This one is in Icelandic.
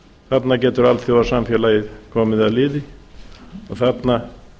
þarna getur alþjóðasamfélagið komið að liði og þarna